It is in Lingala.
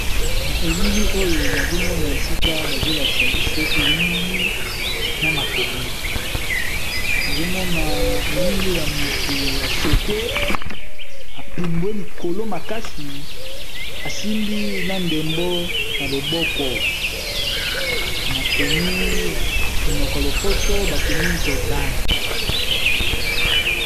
Na elili oyo bazolakiza biso elili na makomi pe eza elili ya mutu a pumbwe likolo pe asimbi ndembo ya maboko na makomi ya monoko ya lopoto Jordan.